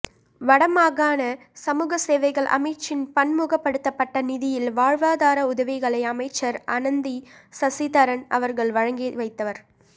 வடமாகாண சமூகசேவைகள் அமைச்சின் பன்முகபடுத்தப்பட்ட நிதியில் வாழ்வாதார உதவிகளை அமைச்சர் அனந்தி சசிதரன் அவர்கள் வழங்கிவைத்தார்